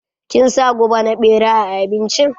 Kin sa guba na ɓera a abincin?